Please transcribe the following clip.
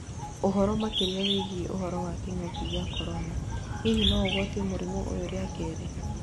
ũhoro makĩria wĩgiĩ ũhoro wa kĩng'ũki gĩa Korona: hihi noũgwatio mũrĩmũ ũyũ rĩa kerĩ?